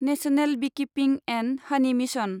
national beekeeping and honey mission